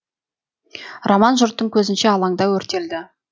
роман жұрттың көзінше алаңда өртелді